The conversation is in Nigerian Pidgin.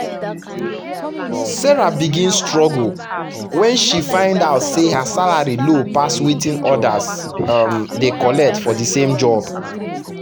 sarah begin struggle when she find out say her salary low pass wetin others um dey collect for thesame job